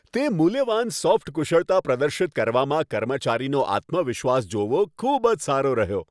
તે મૂલ્યવાન સોફ્ટ કુશળતા પ્રદર્શિત કરવામાં કર્મચારીનો આત્મવિશ્વાસ જોવો, ખૂબ જ સારો રહ્યો.